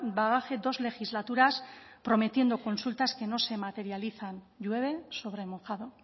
bagaje dos legislaturas prometiendo consultas que no se materializan llueve sobre mojado